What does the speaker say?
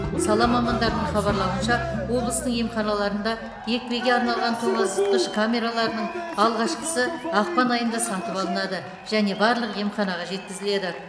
сала мамандарының хабарлауынша облыстың емханаларында екпеге арналған тоңазытқыш камераларының алғашқысы ақпан айында сатып алынады және барлық емханаға жеткізіледі